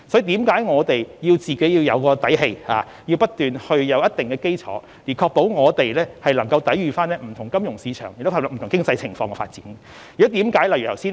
故此，我們要有底氣和建立一定基礎，才能確保香港有力抵禦不同的金融市場挑戰，以及作不同程度的經濟發展。